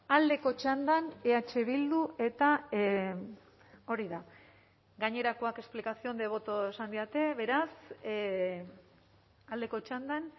aldeko txandan eh bildu eta hori da gainerakoak explicación de voto esan didate beraz aldeko txandan